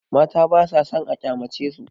Mata basa sann a kyamacesu.